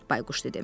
Bayquş dedi.